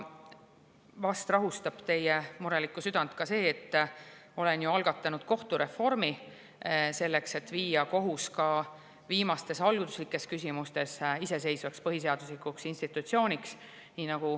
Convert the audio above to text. Vast rahustab teie murelikku südant see, et olen algatanud kohtureformi, selleks et muuta kohus ka viimastes alluvuslikes küsimustes iseseisvaks põhiseaduslikuks institutsiooniks.